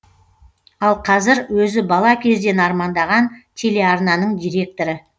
ал қазір өзі бала кезден армандаған телеарнаның директоры